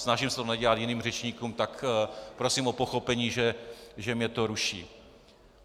Snažím se to nedělat jiným řečníkům, tak prosím o pochopení, že mě to ruší.